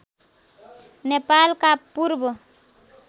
नेपालका पूर्व